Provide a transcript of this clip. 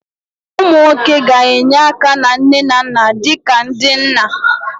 Ụmụ nwoke ga-enye aka na nne na nna dị ka ndị nna